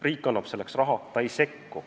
Riik annab selleks raha, aga ta ei sekku.